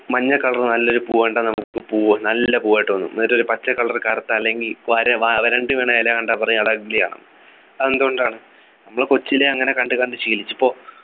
മഞ്ഞ color നല്ലൊരു പൂവ് കണ്ടാ നമുക്ക് പൂവ് നല്ല പൂവായിട്ട് തോന്നും എന്നിട്ടൊരു പച്ച color കറുത്ത അല്ലെങ്കിൽ ഇല കണ്ടാൽ പറയും അത് ugly ആണെന്ന് അത് എന്തുകൊണ്ടാണ് നമ്മൾ കൊച്ചിലെ അങ്ങനെ കണ്ടു കണ്ട് ശീലിച്ചു പ്പോ